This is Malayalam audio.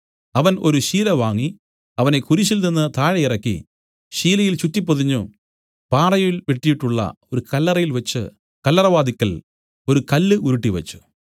അവൻ ഒരു ശീല വാങ്ങി അവനെ കുരിശിൽനിന്ന് താഴെയിറക്കി ശീലയിൽ ചുറ്റിപ്പൊതിഞ്ഞു പാറയിൽ വെട്ടിയിട്ടുള്ള ഒരു കല്ലറയിൽ വെച്ച് കല്ലറവാതില്ക്കൽ ഒരു കല്ല് ഉരുട്ടിവച്ചു